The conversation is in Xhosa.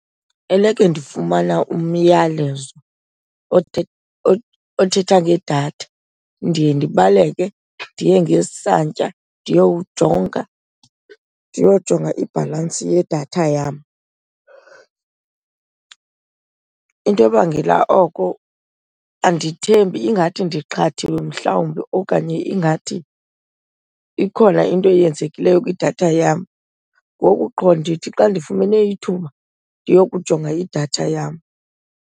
Eleke ndifumana umyalezo othetha ngedatha ndiye ndibaleke ndiye ngesantya ndiyowujonga, ndiyojonga ibhalansi yedatha yam. Into ebangela oko andithembi, ingathi ndiqhathiwe mhlawumbi okanye ingathi ikhona into eyenzekileyo kwidatha yam. Ngoku qho ndithi xa ndifumene ithuba ndiyokujonga idatha yam.